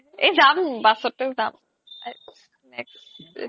এই যাম bus তে যাম